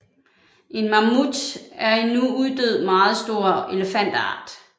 En mammut er en nu uddød meget stor elefantart